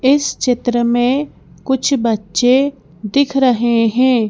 इस चित्र मेंकुछ बच्चेदिख रहे हैं।